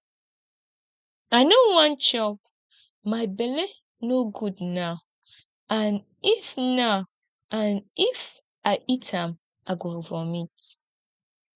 i no wan chop my bele no good now and if now and if i eat am i go vomit